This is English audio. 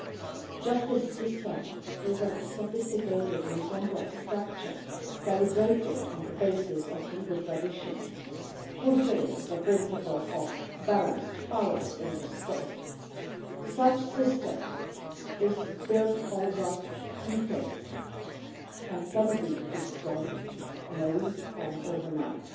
The justice system is a sophisticated and complex structure, calibrated on the basis of legal traditions and fulfilling the principle of the balance of powers in the state. Such a system is built over decades and can be destroyed in a week or overnight.